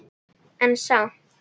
En samt